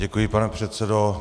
Děkuji, pane předsedo.